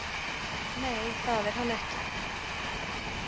Nei, það er hann ekki.